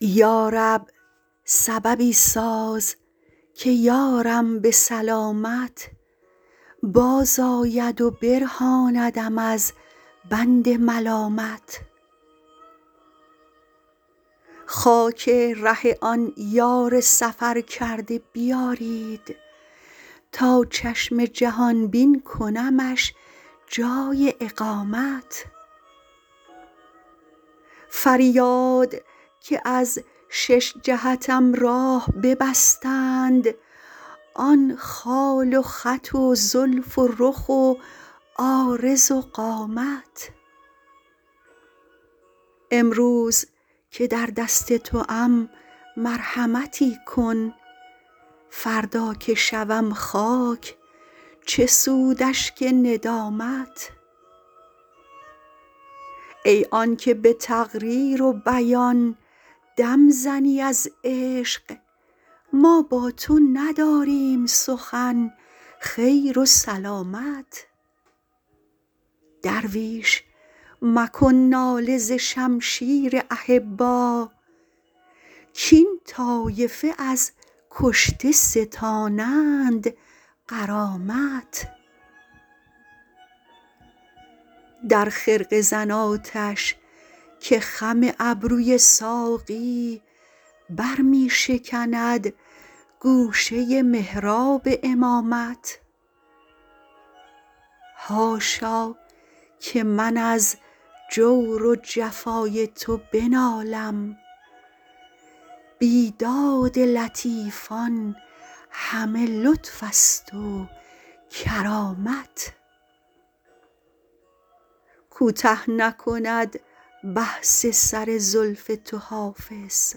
یا رب سببی ساز که یارم به سلامت بازآید و برهاندم از بند ملامت خاک ره آن یار سفرکرده بیارید تا چشم جهان بین کنمش جای اقامت فریاد که از شش جهتم راه ببستند آن خال و خط و زلف و رخ و عارض و قامت امروز که در دست توام مرحمتی کن فردا که شوم خاک چه سود اشک ندامت ای آن که به تقریر و بیان دم زنی از عشق ما با تو نداریم سخن خیر و سلامت درویش مکن ناله ز شمشیر احبا کاین طایفه از کشته ستانند غرامت در خرقه زن آتش که خم ابروی ساقی بر می شکند گوشه محراب امامت حاشا که من از جور و جفای تو بنالم بیداد لطیفان همه لطف است و کرامت کوته نکند بحث سر زلف تو حافظ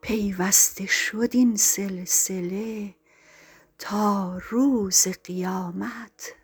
پیوسته شد این سلسله تا روز قیامت